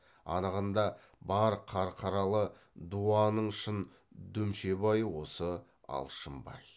анығында бар қарқаралы дуаның шын дүмшебайы осы алшынбай